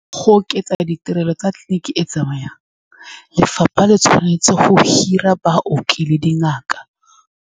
Go oketsa ditirelo tsa tleliniki e e tsamayang, lefapha le tshwanetse go hira baoki le dingaka.